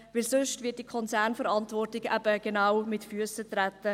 Denn sonst wird die Konzernverantwortung eben genau mit Füssen getreten.